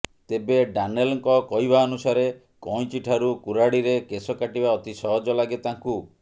ତେବେ ଡାନେଲଙ୍କ କହିବା ଅନୁସାରେ କଇଁଚି ଠାରୁ କୁରାଢ଼ିରେ କେଶ କାଟିବା ଅତି ସହଜ ଲାଗେ ତାଙ୍କୁ